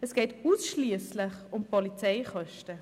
Es geht ausschliesslich um Polizeikosten.